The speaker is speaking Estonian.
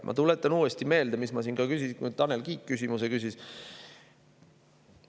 Ma tuletan uuesti meelde, mille kohta ma siin ka küsisin.